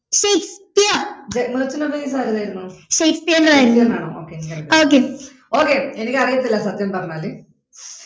Shakespeare ഷേക്സ്പിയറിൻറെ വരിയോ okay